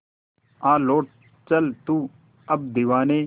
आ लौट चल तू अब दीवाने